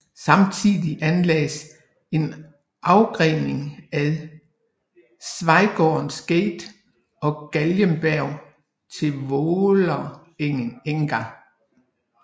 Samtidig anlagdes en afgrening ad Schweigaards gate og Galgeberg til Vålerenga